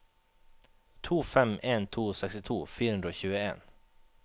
to fem en to sekstito fire hundre og tjueen